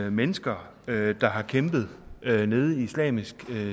at mennesker der har kæmpet nede i islamisk